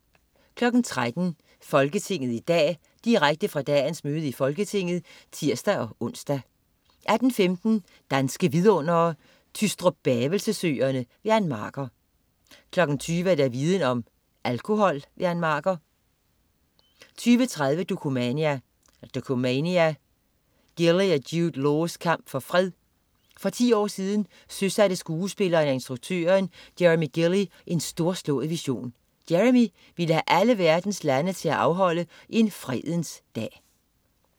13.00 Folketinget i dag. Direkte fra dagens møde i Folketinget (tirs-ons) 18.15 Danske Vidundere: Tystrup-Bavelse Søerne. Ann Marker 20.00 Viden Om: Alkohol. Ann Marker 20.30 Dokumania: Gilley og Jude Laws kamp for fred. For 10 år siden søsatte skuespilleren og instruktøren Jeremy Gilley, en storslået vision. Jeremy ville have alle verdens lande til at afholde en Fredens Dag